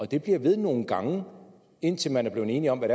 det bliver ved nogle gange indtil man er blevet enige om hvad